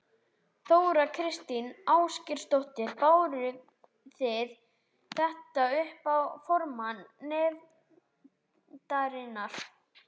Þóra Kristín Ásgeirsdóttir: Báru þið þetta upp á formann nefndarinnar?